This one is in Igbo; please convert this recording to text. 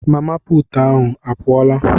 Mama puutu ahụ a pụọla?